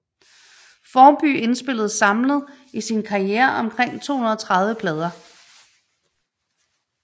Formby indspillede samlet i sin karriere omkring 230 plader